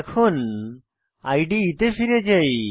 এখন ইদে তে ফিরে যাই